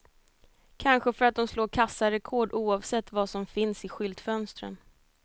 Kanske för att de slår kassarekord oavsett vad som finns i skyltfönstren.